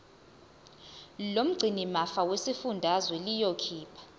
lomgcinimafa lesifundazwe liyokhipha